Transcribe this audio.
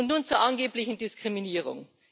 Und nun zur angeblichen Diskriminierung.